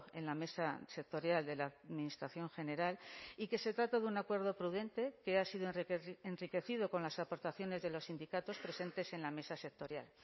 en la mesa sectorial de la administración general y que se trata de un acuerdo prudente que ha sido enriquecido con las aportaciones de los sindicatos presentes en la mesa sectorial